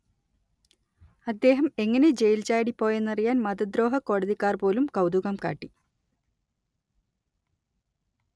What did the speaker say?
അദ്ദേഹം എങ്ങനെ ജെയിൽ ചാടിപ്പോയെന്നറിയാൻ മതദ്രോഹക്കോടതിക്കാർ പോലും കൗതുകം കാട്ടി